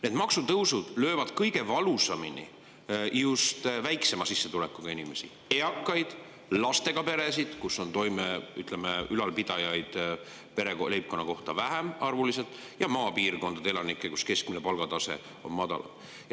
Need maksutõusud löövad kõige valusamini just väiksema sissetulekuga inimesi: eakaid, lastega peresid, kus on, ütleme, ülalpidajaid pere või leibkonna kohta arvuliselt vähem, ja maapiirkondade elanikke, sest keskmine palgatase on seal madalam.